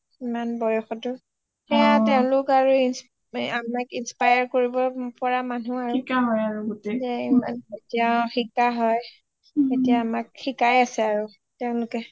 ইমান বয়সতো সেইয়া তেওঁলোক আমাক inspire কৰিব পৰা মানুহ আৰু এতিয়া শিকা হয় এতিয়া আমাক শিকাই আছে আৰু তেওঁলোকে